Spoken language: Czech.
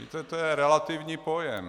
Víte, to je relativní pojem.